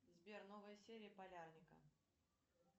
сбер новая серия полярника